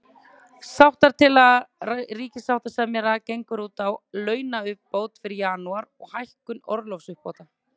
Sáttatillaga ríkissáttasemjara gengur út á launauppbót fyrir janúar, og hækkun orlofsuppbóta.